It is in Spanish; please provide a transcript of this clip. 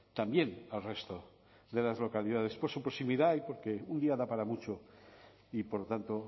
también al resto de las localidades por su proximidad y porque un día da para mucho y por lo tanto